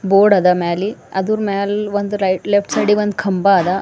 ಬೋರ್ಡ ಅದ ಮ್ಯಾಲಿ ಅದ್ರ್ ಮ್ಯಾಲ್ ಒಂದ್ ರೈಟ್ ಲೆಫ್ಟ್ ಸೈಡಿಗ್ ಒಂದ್ ಕಂಬ ಅದ. ಮ್ಯಾ--